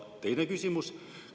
Ja teine küsimus.